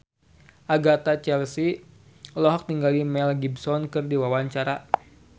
Agatha Chelsea olohok ningali Mel Gibson keur diwawancara